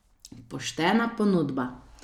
Poštena ponudba.